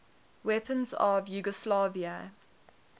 weapons of yugoslavia